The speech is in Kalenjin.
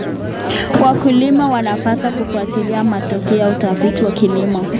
Wakulima wanapaswa kufuatilia matokeo ya utafiti wa kilimo.